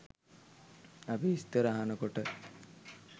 අපි විස්තර අහන කොට